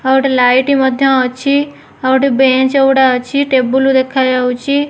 ଆଉ ଗୋଟେ ଲାଇଟ୍ ମଧ୍ୟ ଅଛି ଆଉ ଗୋଟେ ବେଞ୍ଚ ଗୁଡା ଅଛି ଟେବୁଲ ଦେଖା ଯାଉଅଛି।